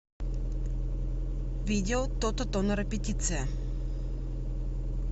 видео тото тонера петиция